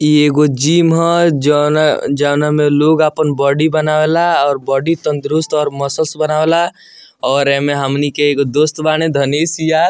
इ एगो जीम है जोना जोना मे लोग अपन बॉडी बनावेला और बॉडी तंदुरुस्त और मसल्स बनावेला और एमे हमनी के एगो दोस्त बाड़े धनिस यार --